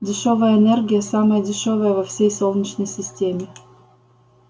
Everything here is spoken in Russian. дешёвая энергия самая дешёвая во всей солнечной системе